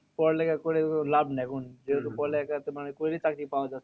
পড়ালেখা করে লাভ নেই এখন। যেহেতু পড়ালেখা তোমার আরকি করে চাকরি পাওয়া যাচ্ছে না।